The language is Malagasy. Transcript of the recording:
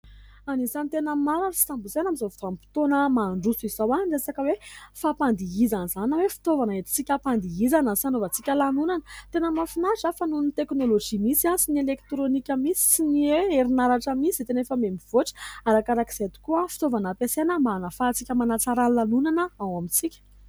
Anisan'ny tena maro ary tsy tambo isaina amin'izao vanim-potoana mandroso izao ny resaka hoe fampandihizana izany na hoe fitaovana entitsika hampandihizana sy hanaovantsika lanonana. Tena mahafinaritra fa noho ny "technologie" misy sy ny elektrônika misy sy ny hoe herinaratra misy dia tena efa miamivoatra. Arakarak'izay tokoa ny fitaovana ampiasaina mba hahafahatsika manatsara ny lanonana ao amintsika.